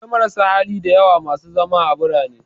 Akwai marasa hali da yawa masu zama a birane